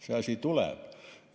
See asi tuleb!